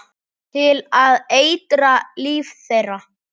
Til að eitra líf þeirra.